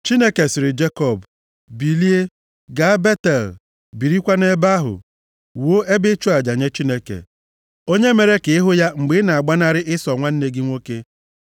Chineke sịrị Jekọb, “Bilie, gaa Betel, birikwa nʼebe ahụ. Wuo ebe ịchụ aja nye Chineke, onye mere ka ị hụ ya mgbe ị na-agbanarị Ịsọ nwanne gị nwoke.”